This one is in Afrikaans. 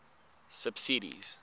subsidies